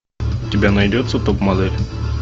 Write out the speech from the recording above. у тебя найдется топ модель